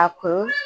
A kun